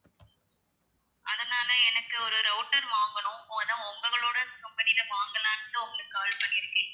அதனால எனக்கு ஒரு router வாங்கணும் அதான் உங்களோட company ல வாங்கலாம்ன்னு உங்களுக்கு call பண்ணிருக்கேன்